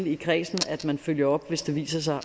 i kredsen til at følge op hvis det viser sig